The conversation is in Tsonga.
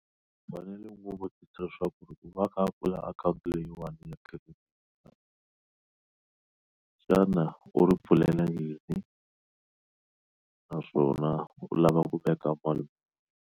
U fanele ngopfu u tiyisisa leswaku ku va a kha a pfula akhawunti leyiwani xana u ri pfulela yini naswona u lava ku veka vanhu.